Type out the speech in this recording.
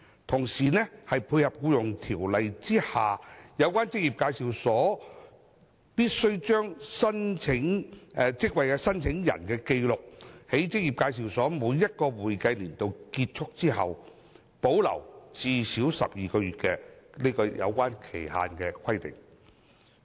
同時，此舉可配合《僱傭條例》之下有關職業介紹所必須將職位申請人的紀錄，在職業介紹所每一個會計年度結束後保留最少12個月的期限規定。